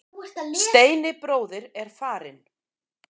Steini bróðir er farinn.